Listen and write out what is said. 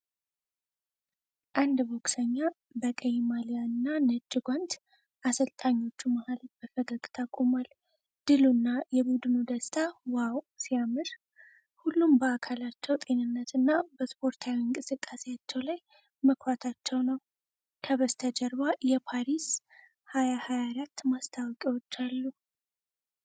አንድ ቦክሰኛ በቀይ ማሊያ እና ነጭ ጓንት አሰልጣኞቹ መሃል በፈገግታ ቆሟል። ድሉ እና የቡድኑ ደስታ "ዋው ሲያምር"። ሁሉም በአካላቸው ጤንነት እና በስፖርታዊ እንቅስቃሴያቸው ላይ መኩራታቸው ነው!። ከበስተጀርባ የፓሪስ 2024 ማስታወቂያዎች አሉ።